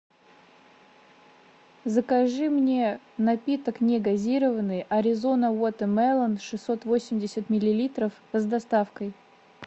закажи мне напиток негазированный аризона вотермелон шестьсот восемьдесят миллилитров с доставкой